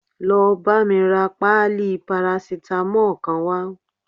Lọ bámi ra páálí paracetamol kan wá